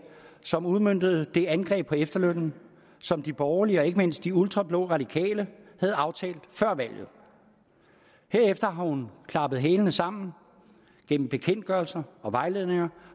som udmøntede det angreb på efterlønnen som de borgerlige og ikke mindst de ultrablå radikale havde aftalt før valget herefter har hun klappet hælene sammen gennem bekendtgørelser og vejledninger